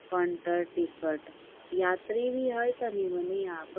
Counter ticket यात्री भी है तनी-मनी यहाँ पर।